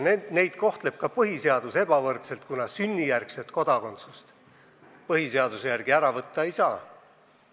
Neid kohtleb ka põhiseadus ebavõrdselt, kuna sünnijärgset kodakondsust põhiseaduse järgi ära võtta ei saa.